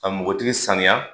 K a nbogotigi sanuya